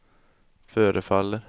förefaller